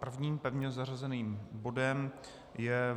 Prvním pevně zařazeným bodem je